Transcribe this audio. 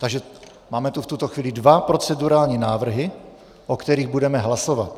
Takže máme tu v tuto chvíli dva procedurální návrhy, o kterých budeme hlasovat.